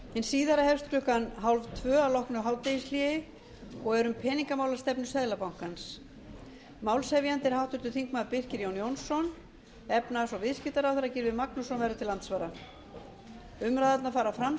hin síðari hefst klukkan eitt þrjátíu að loknu hádegishléi og er um peningamálastefnu seðlabankans málshefjandi er háttvirtur þingmaður birkir jón jónsson efnahags og viðskiptaráðherra gylfi magnússon verður til andsvara umræðurnar fara fram